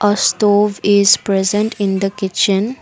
a stove is present in the kitchen